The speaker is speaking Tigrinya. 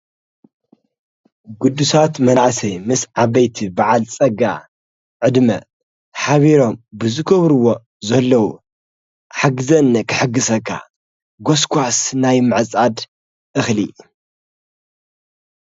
ጕዱሳት መናእሰይ ምስ ዓበይቲ በዓል ጸጋ ዕድመ ኃቢሮም ብዝገብርዎ ዘለዉ ሓግዘኒ ክሕጊሰካ ጐሥጓስ ናይ ምዕጻድ እኽሊ::